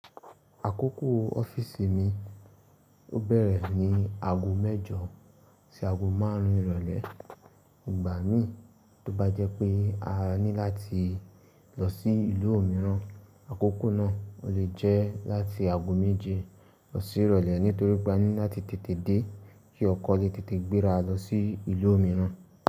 Àkókò ọ́fíìsì mi ó bẹ̀rẹ̀ ní aago mẹ́jọ sí aago márùn ìrọ̀lẹ́. Ìgbà mi tó bá jẹ́ pé a ní láti lọ sí ìlú mìíràn, àkókò náà ò le jẹ́ láti aago méje lọ sí ìrọ̀lẹ́ nítorí pé a ní láti tètè dé kí ọkọ̀ lè tètè gbéra lọ sí ìlú mìíràn.